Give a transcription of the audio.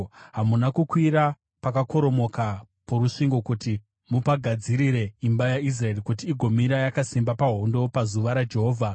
Hamuna kukwira pakakoromoka porusvingo kuti mupagadzirire imba yaIsraeri, kuti igomira yakasimba pahondo pazuva raJehovha.